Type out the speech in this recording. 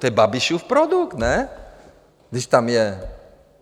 To je Babišův produkt, ne, když tam je?